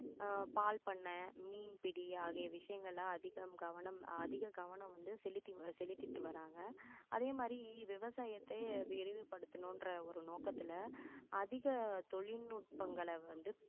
அஹ் பால் பண்ணை, மீன்பிடி ஆகிய விஷயங்களில அதிகம் கவனம் அதிக கவனம் வந்து செலுத்தி~செலுத்திட்டு வர்றாங்க அதே மாதிரி விவசாயத்தை விரிவுபடுத்தணுன்ற ஒரு நோக்கத்துல அதிக தொழில்நுட்பங்களை வந்து